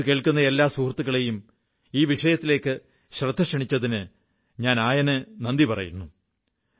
മൻ കീ ബാത് കേൾക്കുന്ന എല്ലാ സുഹൃത്തുക്കളെയും ഈ വിഷയത്തിലേക്ക് ശ്രദ്ധക്ഷണിച്ചതിന് ഞാൻ നന്ദി പറയുന്നു